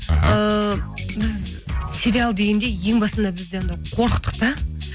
ыыы біз сериал дегенде ең басында бізде анау қорықтық та